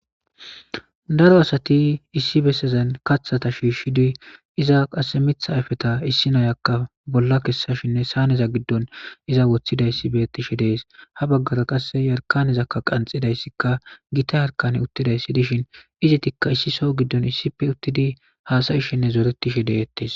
Daro asati issi bessezan kathata shiishidi iza qasse mitha ayfeta issi nayakka bolla kessashinne saaneza giddon iza woththidayssi bettishe dees ha baggara qasse yarkanezakka qanxidayssikka gita harkane uttidayssi dishin izi tikka issi so giddon issife uttidi haasayishinne zooretishe deettes.